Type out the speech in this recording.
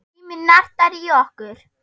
Tíminn nartar í okkur.